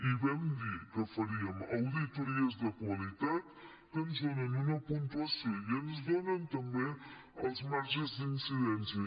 i vam dir que faríem auditories de qualitat que ens donen una puntuació i ens donen també els marges d’incidència